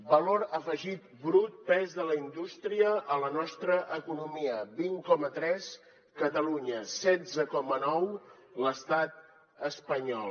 valor afegit brut pes de la indústria a la nostra economia vint coma tres catalunya setze coma nou l’estat espanyol